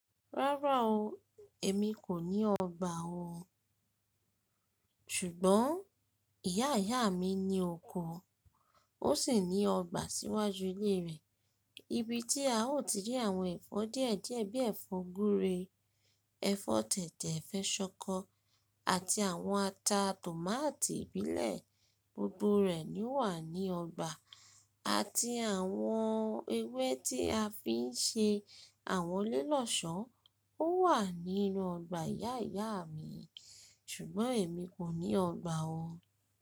Rárá o, èmi kò ní ọgbà o. Ṣùgbọ́n ìyá ìyá mi ní oko, ó sì ní ọgbà síwájú ilé rẹ̀. Ibi tí a ó ti rí àwọn ẹ̀fọ́ díẹ̀díẹ̀ bí ẹ̀fọ́ gúre, ẹ̀fọ́ tẹ̀tẹ̀, ẹ̀fọ́ ṣọkọ, àti àwọn ata tòmátì ìbílẹ̀. Gbogbo rẹ̀ ni ó wà ní ọgbà àti àwọn ewé tí a fi ń ṣe àwọn lílọ̀ṣọ́ ó wà nínú ọgbà ìyá ìyá mi. Ṣùgbọ́n èmi kò ní ọgbà o.